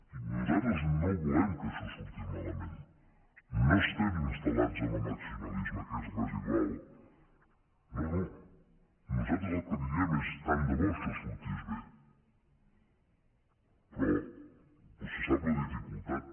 i nosaltres no volem que això surti malament no estem instal·lats en el maximalisme que és residual no no nosaltres el que li diem és tant de bo això sortís bé però vostè en sap la dificultat